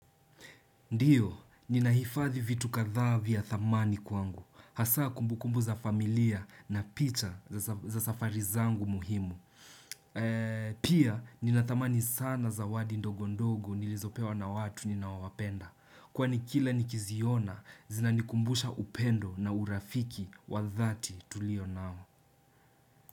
Ndio, inahifadhi vitu kadha vya thamani kwangu. Hasa kumbukumbu za familia na picha za safari zangu muhimu. Pia, nina thamani sana zawadi ndogo ndogo nilizopewa na watu ninaowapenda. Kwani kila nikiziona, zinanikumbusha upendo na urafiki wa dhathi tulio nao.